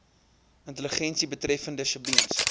intelligensie betreffende sjebiens